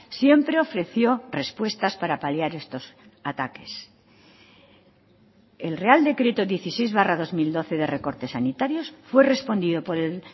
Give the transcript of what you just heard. siempre ofreció respuestas para paliar estos ataques el real decreto dieciséis barra dos mil doce de recortes sanitarios fue respondido por el